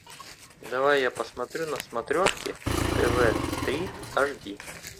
давай я посмотрю на смотрешке тв три аш ди